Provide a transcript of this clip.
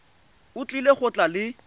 o tlile go tla le